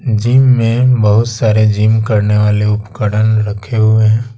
Gym में बहुत सारे जिम करने वाले उपकरण रखे हुए हैं।